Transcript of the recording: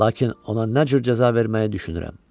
Lakin ona nə cür cəza verməyi düşünürəm.